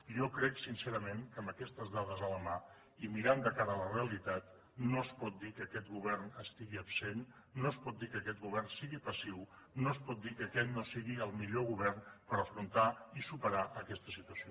jo crec sincerament que amb aquestes dades a la mà i mirant de cara a la realitat no es pot dir que aquest govern estigui absent no es pot dir que aquest govern sigui passiu no es pot dir que aquest no sigui el millor govern per afrontar i superar aquesta situació